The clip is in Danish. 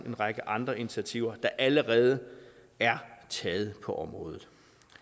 en række andre initiativer der allerede er taget på området